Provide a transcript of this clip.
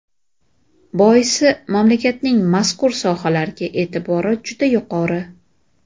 Boisi mamlakatning mazkur sohalarga e’tibori juda yuqori.